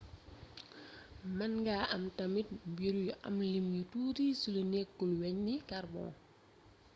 mën nga am tamit mbir yu am lim yu tuuti ci lu nékkul-wegn ni carbon